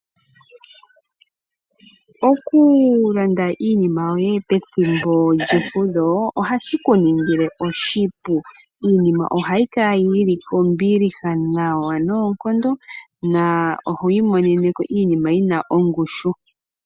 Oku landela iinima yoye pethimbo lye fudho, ohashi ku ningile oshipu. Iinima ohayi kala yili ko mbiliha nawa noonkondo na oho imoneneko iinima yina ongushu.